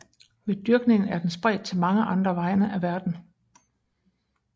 Ved dyrkning er den spredt til mange andre egne af verden